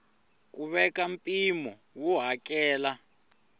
ku veka mpimo wo hakela